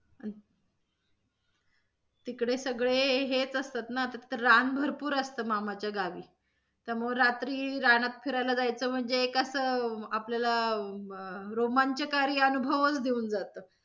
अं तिकडे सगळे हेच असतात न तिथे रान भरपूर असतं मामाच्या गावी त्यामुळे रात्री रानात फिरायला जायचं म्हणजे कसं आपल्याला अं रोमांचकारी अनुभवच देऊन जातं.